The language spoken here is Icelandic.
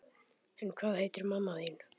En hvað heitir mamma þín?